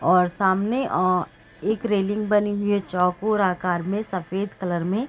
और सामने अ एक रेलिंग बनी हुई है चौकोर आकार में सफ़ेद कलर में।